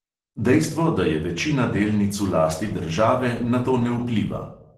Dejstvo, da je večina delnic v lasti države, na to ne vpliva.